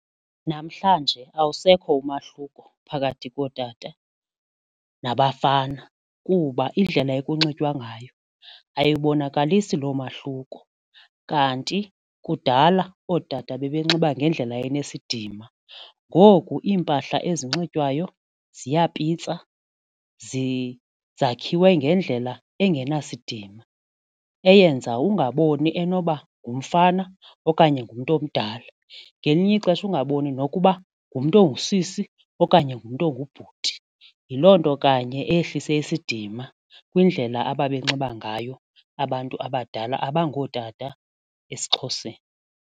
Namhlanje awusekho umahluko phakathi kootata nabafana kuba indlela ekunxitywa ngayo ayibonakalisi lo mahluko kanti kudala ootata babenxiba ngendlela enesidima, ngoku iimpahla ezinxitywayo ziyapitsa, zakhiwe ngendlela engenasidima eyenza ungaboni enoba ngumfana okanye ngumntu omdala ngelinye ixesha ungaboni nokuba ngumntu ongusisi okanye ngumntu ongubhuti. Yiloo nto kanye eyehlise isidima kwindlela ababenxiba ngayo abantu abadala abangootata esiXhoseni.